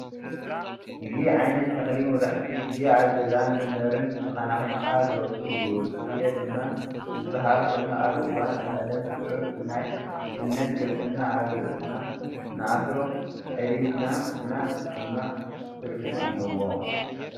እዚ ዓይነት ተኽሊ መብዛሕትኡ ጊዜ ኣብ ገዛን መንበርን ተኻናኺንካ ዝበቑል እዩ፡፡ ስየ ድማ ዝባሃል ኮይኑ ኣብ እዋን ቀዳም ስዑር ብናይ እምነት ክርስትና ናብ ርእስና ንኣስሮ ጨዲድና ግን ድማ ትርጉም ኣለዎ፡፡